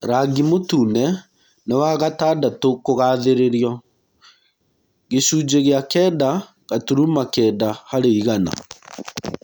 Rangi mũtune nĩ wagatandatũkũgathĩrĩrio (gicunjĩ gĩa kenda gaturuma Kenda harĩ igana)